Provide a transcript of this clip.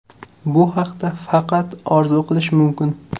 Bu haqda faqat orzu qilish mumkin.